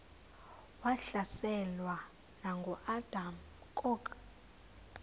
wahlaselwa nanguadam kok